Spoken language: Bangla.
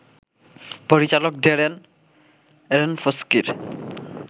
পরিচালক ড্যারেন আরোনফস্কির